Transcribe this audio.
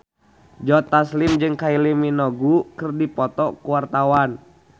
Joe Taslim jeung Kylie Minogue keur dipoto ku wartawan